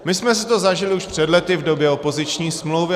My jsme si to zažili už před lety v době opoziční smlouvy.